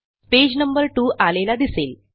page number 2 आलेला दिसेल